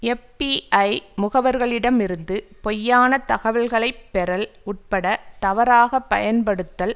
FBI முகவர்களிடமிருந்து பொய்யான தகவல்களை பெறல் உட்பட தவறாக பயன்படுத்தல்